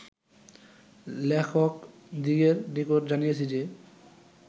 লেখকদিগের নিকট জানিয়াছি যে